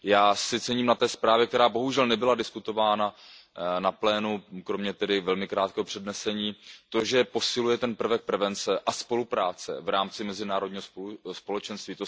Já si cením na té zprávě, která bohužel nebyla diskutována na plénu, tedy kromě velmi krátkého přednesení, to, že posiluje prvek prevence a spolupráce v rámci mezinárodního společenství.